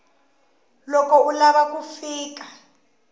loko u lava ku fika